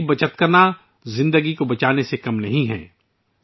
پانی کو بچانا زندگی بچانے سے کم نہیں ہے